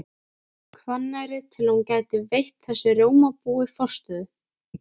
Hvanneyri til að hún gæti veitt þessu rjómabúi forstöðu.